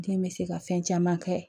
Den bɛ se ka fɛn caman kɛ